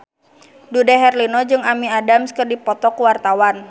Dude Herlino jeung Amy Adams keur dipoto ku wartawan